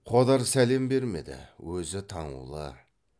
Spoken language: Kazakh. қодар сәлем бермеді өзі таңулы